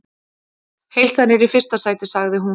Heilsan er í fyrsta sæti, sagði hún.